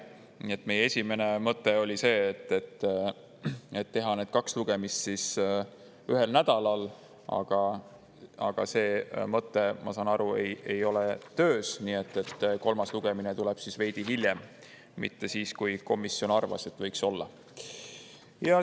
Nii et meie esimene mõte oli see, et teha need kaks lugemist ühel nädalal, aga see mõte, ma saan aru, ei ole töös, nii et kolmas lugemine tuleb veidi hiljem, mitte siis, kui komisjon arvas, et võiks olla.